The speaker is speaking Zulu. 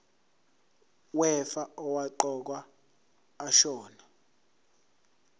wefa owaqokwa ashona